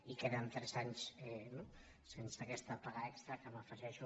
i que eren tres anys no sense aquesta paga extra que m’afegeixo